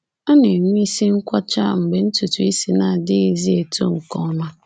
A na-enwe isi nkwọcha mgbe ntutu isi na-adịghịzi eto nke ọma.